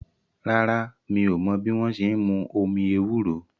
Rárá, mi ò mọ́ bí wọ́n ṣe n mú omi ewúro